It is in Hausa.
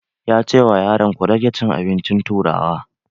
Ya ce wa yaran 'Ku rage cin abincin turawa'!